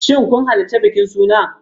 Shin kun halarci bikin suna?